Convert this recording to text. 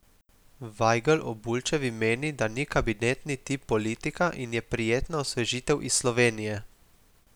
Vajgl o Bulčevi meni, da ni kabinetni tip politika in je prijetna osvežitev iz Slovenije.